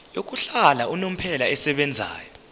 yokuhlala unomphela esebenzayo